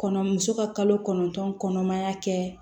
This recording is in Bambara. Kɔnɔ muso ka kalo kɔnɔntɔn kɔnɔmaya kɛ